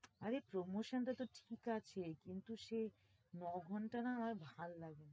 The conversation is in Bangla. আরে promotion টা তো ঠিক আছে, কিন্তু সেই ন-ঘন্টা না আমার ভাল লাগে না।